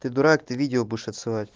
ты дурак ты видео будешь отсылать